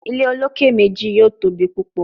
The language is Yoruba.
Ile oloke meji yoo tobi pupọ